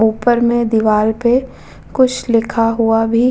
ऊपर में दीवाल पे कुछ लिखा हुआ भी --